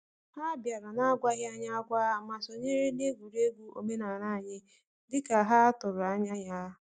Ha bịara n’agwaghị anyị agwa, ma sonyere egwuregwu omenala anyị dị ka ha tụrụ anya ya.